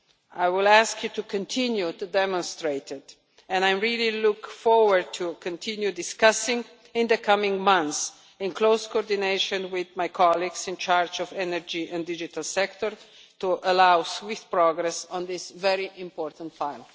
I will ask you to continue to demonstrate it, and I really look forward to continuing discussing it in the coming months, in close coordination with my colleagues in charge of the energy and digital sectors, to allow swift progress on this very important file.